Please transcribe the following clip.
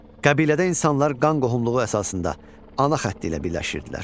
Qəbilədə insanlar qan qohumluğu əsasında ana xətti ilə birləşirdilər.